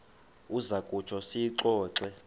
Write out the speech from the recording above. uza kutsho siyixoxe